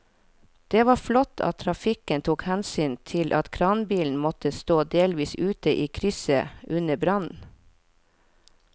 Det var flott at trafikken tok hensyn til at kranbilen måtte stå delvis ute i krysset under brannen.